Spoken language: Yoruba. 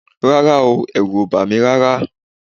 Rárá o, ẹ̀rù ò bà mí rárá